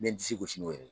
N bɛ n disi gosi n'o ye